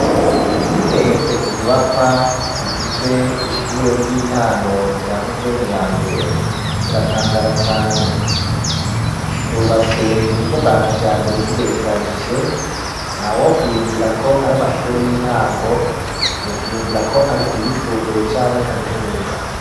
Iyo urengutse ku nyubakwa zigize ishure ry'intango rya Musenyi ya mbere uratangara cane, zubatswe mu buryo bwa kijambere zigerekeranije nta wo kwiyumvira ko ari amashure y'intango yo kwiyumvira ko ari ayisumbuye canke kaminuza.